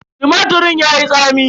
Tumatirin yayi tsami.